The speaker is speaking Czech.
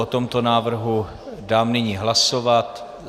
O tomto návrhu dám nyní hlasovat.